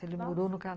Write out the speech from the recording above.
Ele morou no Cana